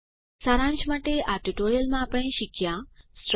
સારાંશ માટે આ ટ્યુ ટોરીયલમાં આપણે શીખ્યા સ્ટ્રક્ચર